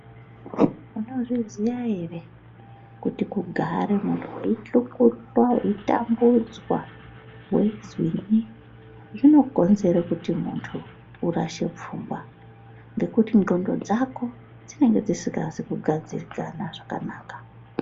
Munozviziya ere kuti kugare muntu weyichukuchwa weitambudzwa weizwinyi, zvinokonzera kuti muntu urashe pfungwa ngekuti nxondo dzako dzinenge dzisina kugadzikana zvakanaka.